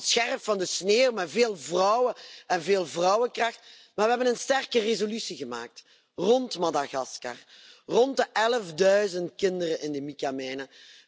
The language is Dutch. Het was op het scherp van de snee, met veel vrouwen en veel vrouwenkracht, maar we hebben een sterke resolutie gemaakt rond Madagaskar, rond de elfduizend kinderen in de micamijnen.